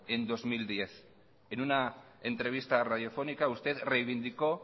en dos mil diez en una entrevista radiofónica usted reivindicó